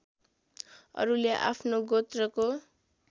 अरूले आफ्नो गोत्रको